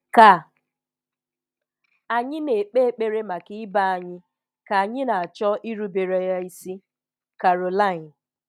Ka anyị na-ekpe ekpere maka ibe anyị ka anyị na-achọ irubere Ya isi. Carolyn